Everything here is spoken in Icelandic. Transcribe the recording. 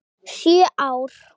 Sjö ár?